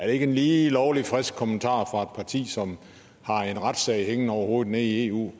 ikke en lige lovlig frisk kommentar fra parti som har en retssag hængende over hovedet nede i eu